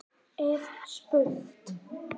er spurt.